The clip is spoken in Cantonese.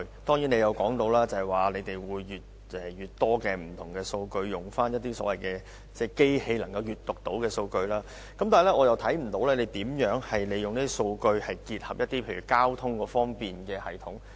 局長提到，他們會逐漸開放更多數據，包括機器能夠閱讀的數據，但是，我看不到當局如何利用這些數據結合交通系統。